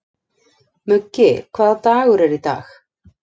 Muggi, hvaða dagur er í dag?